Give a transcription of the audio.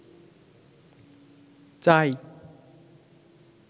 চাই